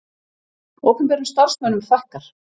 Opinberum starfsmönnum fækkar